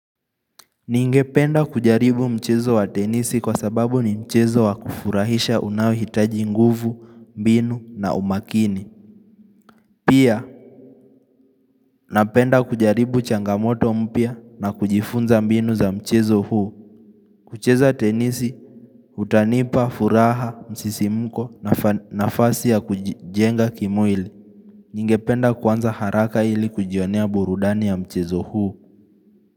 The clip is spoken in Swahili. Ningependa kujaribu mchezo wa tenisi kwa sababu ni mchezo wa kufurahisha unao hitaji nguvu, mbinu na umakini. Pia, napenda kujaribu changamoto mpya na kujifunza mbinu za mchezo huu. Kucheza tenisi, kutanipa, furaha, msisimuko nafasi ya kujijenga kimwili. Ningependa kuanza haraka ili kujionea burudani ya mchezo huu.